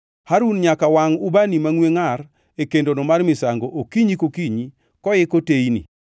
“Harun nyaka wangʼ ubani mangʼwe ngʼar e kendono mar misango okinyi kokinyi koiko teyni.